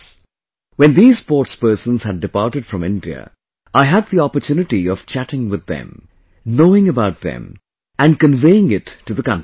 " When these sportspersons had departed from India, I had the opportunity of chatting with them, knowing about them and conveying it to the country